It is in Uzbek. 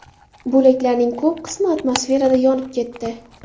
Bo‘laklarning ko‘p qismi atmosferada yonib ketdi.